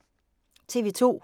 TV 2